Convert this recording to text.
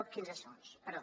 quinze segons perdó